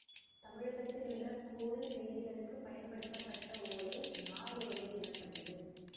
தமிழகத்திலுள்ள கோவில் செய்திகளுக்குப் பயன்படுத்தப்பட்ட ஓலை நாளோலை எனப்பட்டது